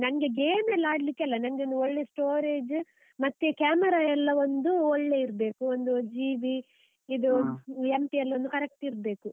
ನಂಗೆ game ಎಲ್ಲಾ ಆಡ್ಲಿಕ್ಕೆ ಅಲ್ಲ. ನಂಗೆ ಒಂದು ಒಳ್ಳೆ storage , ಮತ್ತೆ camera ಎಲ್ಲ ಒಂದು ಒಳ್ಳೆ ಇರ್ಬೇಕು, ಒಂದು GB ಇದು . MPL ಒಂದು correct ಇರ್ಬೇಕು.